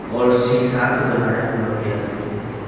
और शीशा से बनाया हुआ गया दिखाई दे रहा है।